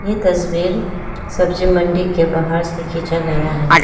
ये तस्वीर सब्जी मंडी के बाहर से खींचा गया है।